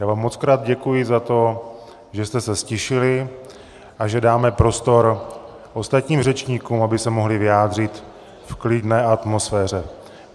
Já vám mockrát děkuji za to, že jste se ztišili a že dáme prostor ostatním řečníkům, aby se mohli vyjádřit v klidné atmosféře.